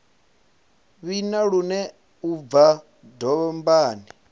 vhina lune u bva dombani